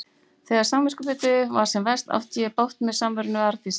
Þegar samviskubitið var sem verst átti ég bágt með samveruna við Arndísi.